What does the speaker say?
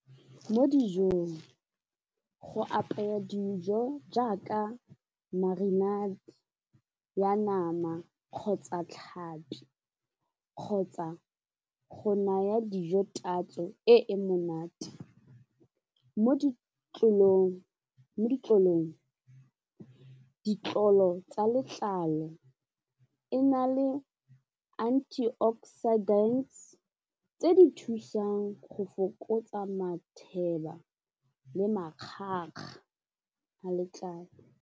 Mo dijong go apaya dijo jaaka marinate ya nama kgotsa tlhapi kgotsa go naya dijo tatso e e monate, mo ditlolong ditlolo tsa letlalo e na le antioxidants tse di thusang go fokotsa matheba le makgakga a letlalo.